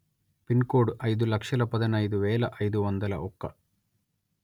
pin code అయిదు లక్షల పదునయిదు వేల అయిదు వందల ఒక్క